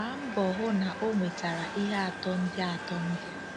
Gbaa mbọ hụ na o nwe tara ihe atọ ndị atọ ndị a: